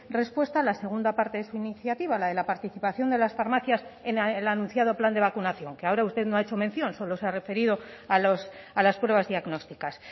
respuesta a la segunda parte de su iniciativa a la de la participación de las farmacias en el anunciado plan de vacunación que ahora usted no ha hecho mención solo se ha referido a las pruebas diagnósticas